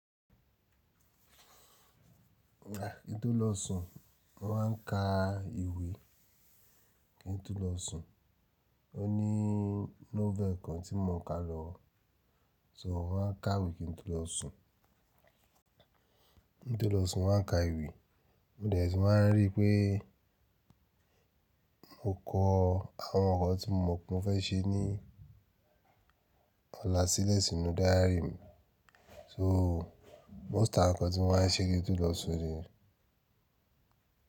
Kí n to lọ sùn, mọ má n ka ìwé kí n to lọ sùn. O ní novel kan tí mò ń ka lọwọ, so mo máa n ka ìwé kí n to lọ sùn. Kí n to lọ sùn mo máa n ka ìwé, mo dẹ̀ tu mà n ríi pé mo kọ àwọn ǹkan tí mo mọ̀ pé mo fẹ́ ṣe ní ọ̀la sílẹ̀ sínú diary mi. So most àwọn ǹkan tí mo máa n ṣe kí n to lọ sùn niyẹn.